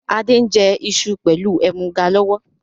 Adé ń jẹ iṣu pẹlu ẹmuga lọ́wọ́